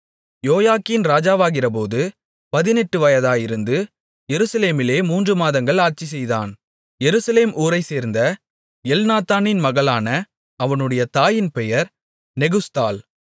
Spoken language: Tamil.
யோயாக்கீன் ராஜாவாகிறபோது பதினெட்டு வயதாயிருந்து எருசலேமிலே மூன்று மாதங்கள் ஆட்சிசெய்தான் எருசலேம் ஊரைச்சேர்ந்த எல்நாத்தானின் மகளான அவனுடைய தாயின் பெயர் நெகுஸ்தாள்